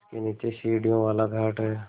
जिसके नीचे सीढ़ियों वाला घाट है